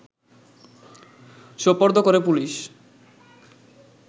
সোপর্দ করে পুলিশ